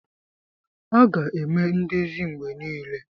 A ga-eme ndezi mgbe niile.